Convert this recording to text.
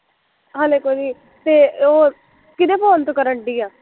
ਹਲੇ ਕੋਈ, ਤੇ ਉਹ, ਕਿਹਦੇ ਫ਼ੋਨ ਤੋਂ ਕਰਨ ਡਈ ਆ